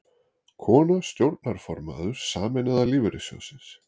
Kona stjórnarformaður Sameinaða lífeyrissjóðsins